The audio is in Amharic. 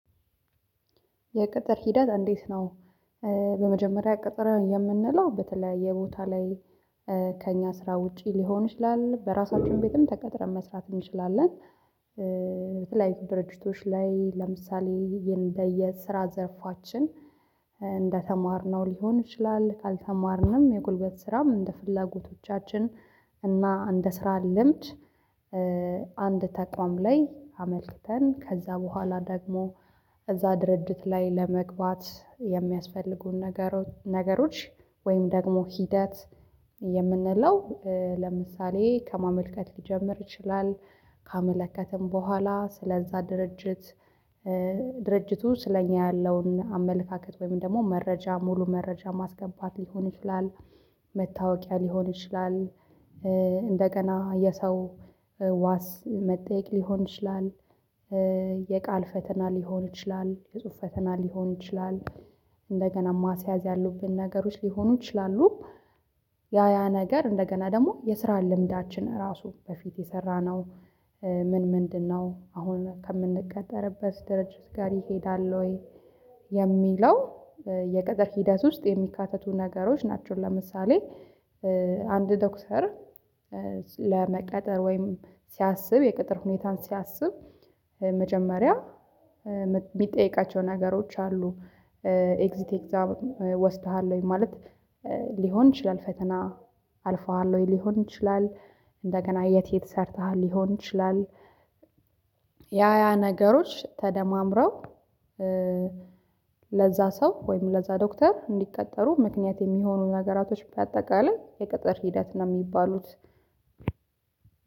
የቅጥር ሂደት እንዴት ነው? በመጀመሪያ ቅጥር የምንለው በተለያየ ቦታ ላይ ከእኛ ስራ ውጪ ሊሆን ይችላል በራሳችን ቤትም ተቀጥረን መስራት እንችላለን የተለያዩ ድርጅቶች ላይ ለምሳሌ እንደየ ስራ ዘርፋችን እንደተማርነው ሊሆን ይችላል ካልተማርንም የጉልበት ስራም እንደ ፍላጎቶቻችን እና እንደ ስራ ልምድ አንድ ተቋም ላይ አመልክተን ከዛ በኋላ ደግሞ እዛ ድርድት ላይ ለመግባት የሚያስፈልጉን ነገሮች ወይም ደግሞ ሂደት የምንለው ለምሳሌ ከማመልከት ሊጀምር ይችላል ካመለከትን በኋላ ስለዛ ድርጅት ድርጅቱ ስለኛ ያለውን አመለካከት ወይም ደግሞ መረጃ ሙሉ መረጃ ማስገባት ሊሆን ይችላል መታወቂያ ሊሆን ይችላል እንደገና የሰው ዋስ መጠየቅ ሊሆን ይችላል የቃል ፈተና ሊሆን ይችላል የጽሁፍ ፈተና ሊሆን ይችላል እንደገና ማስያዝ ያለብን ነገሮች ሊሆኑ ይችላሉ ያ ያ ነገር እንደገና ደግሞ የስራን ልምዳችን እራሱ በፊት የሰራነው ምን ምንድነው አሁን ከምንቀጠርበት ድርጅት ጋር ይሄዳል ወይ የሚለው የቅጥር ሂደት ውስጥ የሚካተቱ ነገሮች ናቸው ለምሳሌ አንድ ዶክተር ለመቀጠር ወይም ሲያስብ የቅጥር ሁኔታን ሲያስብ መጀመሪያ የሚጠይቃቸው ነገሮች አሉ ኤግዚት ኤግዛም ወስደሃል ወይ ማለት ሊሆን ይችላል ፈተና አልፈዋል ወይ ሊሆን ይችላል እንደገና የት የት ሰርተሃል ሊሆን ይችላል ያ ነገሮች ተደማምረው ለዛ ሰው ወይም ለዛ ዶክተር እንዲቀጠሩ ምክንያት የሚሆኑ ነገራቶች በአጠቃላይ የቅጥር ሂደት ነው የሚባሉት